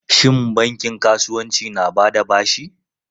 Shin bankin kasuwanci na ba da bashi?